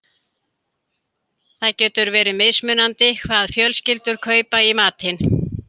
Það getur verið mismunandi hvað fjölskyldur kaupa í matinn.